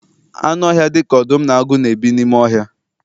Anụ ọhịa dịka ọdụm na agụ na-ebi n'ime ọhịa